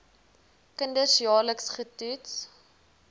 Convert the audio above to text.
kinders jaarliks getoets